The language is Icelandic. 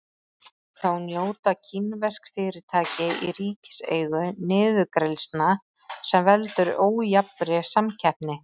Þá njóta kínversk fyrirtæki í ríkiseigu niðurgreiðslna sem veldur ójafnri samkeppni.